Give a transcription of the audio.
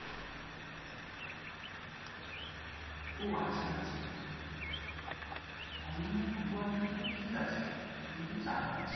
ওহ আচ্ছা আচ্ছা অমরনাথ গুহার ভিতরে কি আছে তুমি কি জানো?